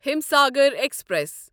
Himsagar express